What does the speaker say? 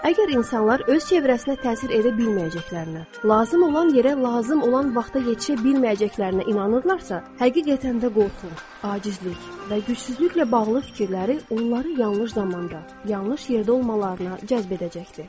Əgər insanlar öz ətrafına təsir edə bilməyəcəklərinə, lazım olan yerə, lazım olan vaxta yetişə bilməyəcəklərinə inanırlarsa, həqiqətən də qorxu, acizlik və gücsüzlüklə bağlı fikirləri onları yanlış zamanda, yanlış yerdə olmalarına cəzb edəcəkdir.